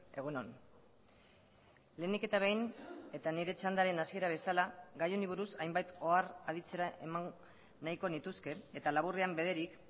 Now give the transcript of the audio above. egun on lehenik eta behin eta nire txandaren hasiera bezala gai honi buruz hainbat ohar aditzera eman nahiko nituzke eta laburrean bederik